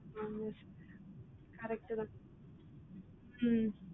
ஆமா sir correct தான் உம்